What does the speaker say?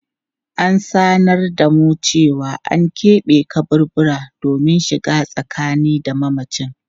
An sanar da mu cewa an kebe kaburbura domin shiga tsakani da mamacin.